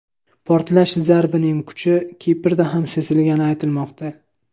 Portlash zarbining kuchi Kiprda ham sezilgani aytilmoqda.